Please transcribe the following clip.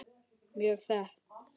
Mjög þétt.